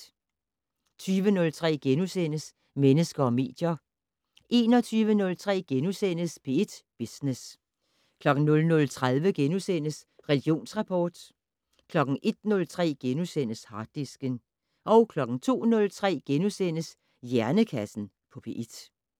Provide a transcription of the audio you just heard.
20:03: Mennesker og medier * 21:03: P1 Business * 00:30: Religionsrapport * 01:03: Harddisken * 02:03: Hjernekassen på P1 *